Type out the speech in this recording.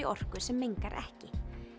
orku sem mengar ekki